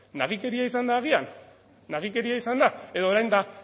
nagikeria izan da agian nagikeria izan da edo orain da